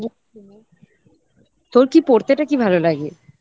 তোর কি পড়তে টা কি ভালো লাগে?